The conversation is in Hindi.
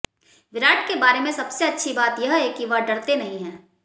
विराट के बारे में सबसे अच्छी बात है कि वह डरते नहीं है